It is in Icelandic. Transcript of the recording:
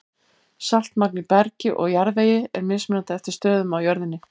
Saltmagn í bergi og jarðvegi er mismunandi eftir stöðum á jörðinni.